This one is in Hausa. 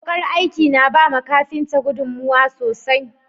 Wukar aiki na bawa kafinta gudunmawa sosai.